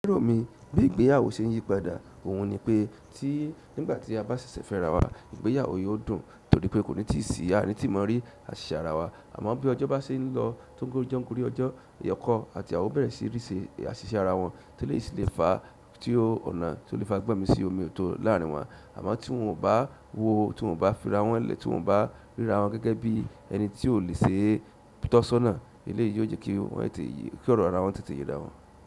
Lerò mi bí ìgbéyàwó ṣe ń yí padà, òhun ni pé tí nígbà tí a bá ṣẹ̀ṣẹ̀ fẹ́ ara wa ìgbéyàwó yóò dùn torí pé kò ní ti sí, a ní ti mọ̀ rí àṣìṣe ara wa àmọ́ bí ọjọ́ bá ṣe ń lọ tó ń ogún ojo gori ọjọ́, ni ọkọ àti iyawọ̀ bẹ̀rẹ̀ sí ríṣe àṣìṣe ara wọn tí eleyi sì le fa tí ó ọ̀nà tí ó le fa gbọ́nmi sí omi ò tó láàárín wọn àmọ́ tí wọn ò bá wo, tí wọn ò bá fira wọ́n lẹ̀, tí wọn ò bá ríra wọn gẹ́gẹ́ bí ẹni tí ò lè ṣe tọ́ ṣọ́nà, eléyìí yoó jẹ̀ kí wọn tètè yé, kí ọ̀rọ̀ ara wọn tètè yè ará wọn.